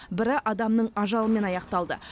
бірі адамның ажалымен аяқталды